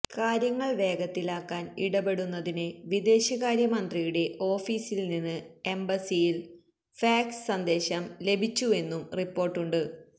കാര്യങ്ങൾ വേഗത്തിലാക്കാൻ ഇടപെടുന്നതിന് വിദേശകാര്യമന്ത്രിയുടെ ഓഫിസിൽനിന്ന് എംബസിയിൽ ഫാക്സ് സന്ദേശം ലഭിച്ചുവെന്നും റിപ്പോർട്ടുണ്ട്